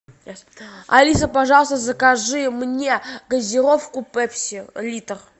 алиса пожалуйста закажи мне газировку пепси литр